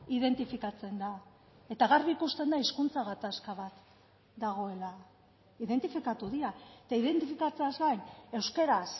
identifikatzen da eta garbi ikusten da hizkuntza gatazka bat dagoela identifikatu dira eta identifikatzeaz gain euskaraz